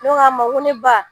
Ne ko a ma n ko ne ba